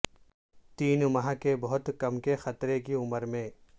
تین ماہ کے بہت کم کے خطرے کی عمر میں